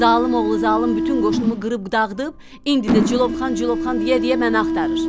Zalım oğlu zalım bütün qoşunumu qırıb dağıdıb, indi də Cilovxan, Cilovxan deyə məni axtarır.